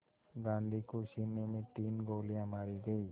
गांधी को सीने में तीन गोलियां मारी गईं